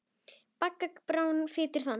Bagga Gráni flytur þann.